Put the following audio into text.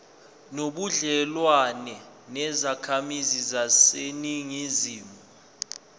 nobudlelwane nezakhamizi zaseningizimu